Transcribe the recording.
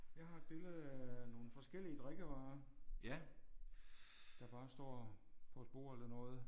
Jeg har et billede af nogle forskellige drikkevarer. Der bare står på et bord eller noget